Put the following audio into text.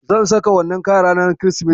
Zan saka wannan kayan ranar Kirsimeti.